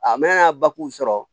A mɛna sɔrɔ